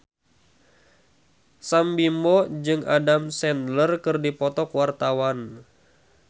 Sam Bimbo jeung Adam Sandler keur dipoto ku wartawan